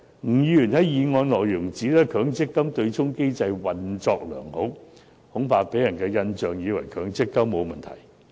吳議員在修正案中指出，強積金對沖機制"運作良好"，恐怕會予人錯誤的印象，以為強積金制度沒有問題。